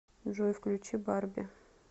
джой включи барби